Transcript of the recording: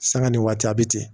Sanga ni waati a bi ten